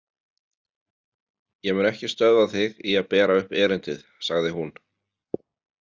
Ég mun ekki stöðva þig í að bera upp erindið, sagði hún.